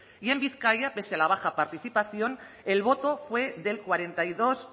y en vizcaya pese a la baja participación el voto fue del cuarenta y dos